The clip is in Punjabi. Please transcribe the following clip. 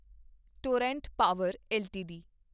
Torrent Power LTD